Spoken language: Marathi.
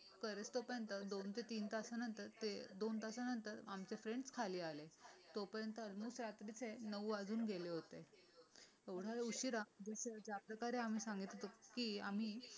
परत तोपर्यंत दोन ते तीन तासानंतर दोन तासानंतर आमचे फ्रेंड् खाली आले. तोपर्यंत अजून रात्रीचे नऊ वाजून गेले होते. एवढ्या उशिरा जसे ज्याप्रकारे आम्ही सांगितले होते की आम्ही